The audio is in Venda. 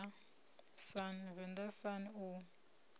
u ya venḓa sun u